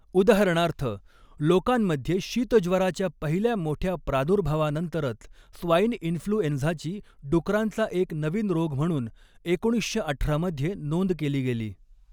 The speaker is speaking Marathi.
उदाहरणार्थ, लोकांमध्ये शीतज्वराच्या पहिल्या मोठ्या प्रादुर्भावानंतरच स्वाइन इन्फ्लूएन्झाची डुकरांचा एक नवीन रोग म्हणून एकोणीसशे अठरा मध्ये नोंद केली गेली.